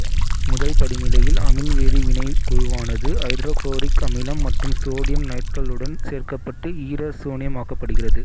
முதல் படிநிலையில் அமீன் வேதி வினைக்குழுவானது ஐதரோகுளோரிக் அமிலம் மற்றும் சோடியம் நைட்ரைலுடன் சேர்க்கப்பட்டு ஈரசோனியமாக்கப்படுகிறது